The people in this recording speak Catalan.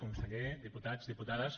conseller diputats diputades